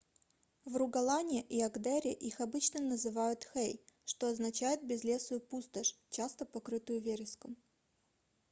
в ругаланне и агдере их обычно называют hei что означает безлесую пустошь часто покрытую вереском